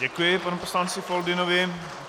Děkuji panu poslanci Foldynovi.